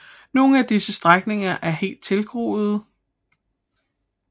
Nogle af disse strækninger er helt tilgroede